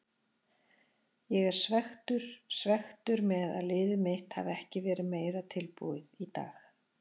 Ég er svekktur, svekktur með að liðið mitt hafi ekki verið meira tilbúið í dag.